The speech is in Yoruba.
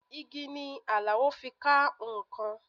Igi ni Alao fi ka nǹkan